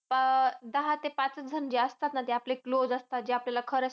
आह दहा ते पाचच जण जे असतात ना जे close असतात. जे आपल्याला खरं सांगतात.